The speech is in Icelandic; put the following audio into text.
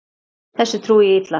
Þessu trúi ég illa.